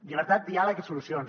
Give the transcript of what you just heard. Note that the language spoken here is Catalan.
llibertat diàleg i solucions